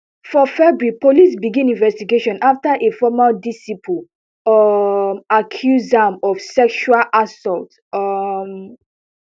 for february police begin investigation afta a former disciple um accuse am of sexual assault um